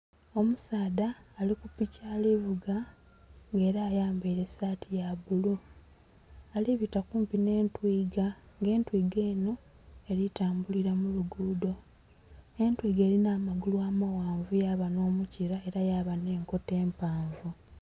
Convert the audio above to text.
Omusaadha ali ku piki alivuuga nga era ayambaire esaati ya bbulu ali bita kumpi nhe'ntwiga, nga entwiga enho eri tambulila mu lugudho entwiga erinha amagulu amaghanvu, yaba nho mukibila era yaba nhe enkoto empaavu.